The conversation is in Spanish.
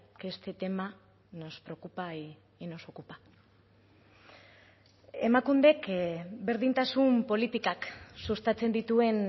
que este tema nos preocupa y nos ocupa emakundek berdintasun politikak sustatzen dituen